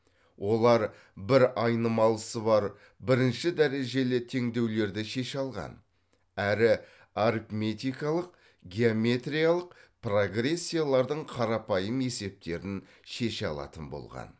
олар бір айнымалысы бар бірінші дәрежелі теңдеулерді шеше алған әрі арифметикалық геометриялық прогрессиялардың қарапайым есептерін шеше алатын болған